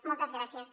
moltes gràcies